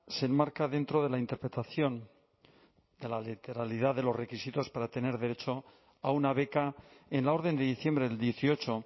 se enmarca dentro de la interpretación de la literalidad de los requisitos para tener derecho a una beca en la orden de diciembre del dieciocho